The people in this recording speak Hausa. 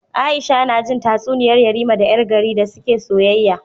Aisha najin tatsuniyar yarima da yar gari da suke soyayya